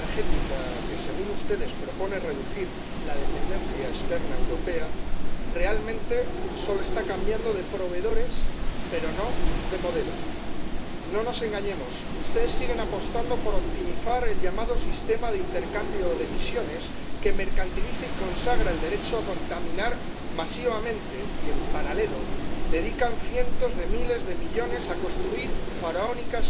Señor Presidente, señor Šefčovič, la unión energética, que según ustedes se propone reducir la dependencia externa europea, realmente solo significa un cambio de proveedores, pero no de modelo. No nos engañemos, ustedes siguen apostando por optimizar el llamado sistema de intercambio de emisiones, que mercantiliza y consagra el derecho a contaminar masivamente, y, en paralelo, dedican cientos de miles de millones a construir obras faraónicas